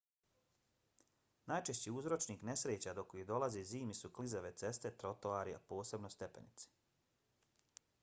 najčešći uzročnik nesreća do kojih dolazi zimi su klizave ceste trotoari a posebno stepenice